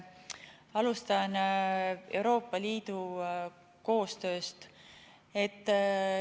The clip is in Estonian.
Alustan Euroopa Liidu koostöö teemast.